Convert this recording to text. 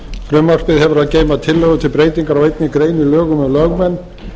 frumvarpið hefur að geyma tillögu til breytingar á einni grein á lögum um lögmenn